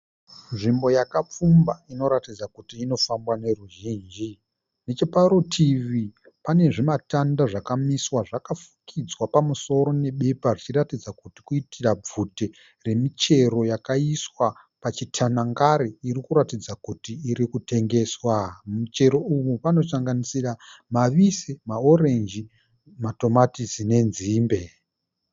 Nzvimbo yakapfumba inoratidza kuti inofambwa neruzhinji. Necheparutivi pane zvimatanda zvakamiswa zvakafukidzwa pamusoro nebepa zvichiratidza kuti kuitira bvute remichero yakaiswa pachitanangari iri kuratidza kuti iri kutengeswa. Michero iyi inosanganisira mavise, maranjisi, matomatisi nenzimbe